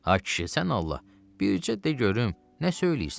Ay kişi, sən Allah, bircə de görüm nə söyləyirsən?